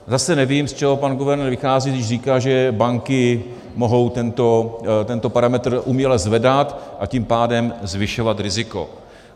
Zase nevím, z čeho pan guvernér vychází, když říká, že banky mohou tento parametr uměle zvedat, a tím pádem zvyšovat riziko.